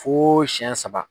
Fo siyɛn saba.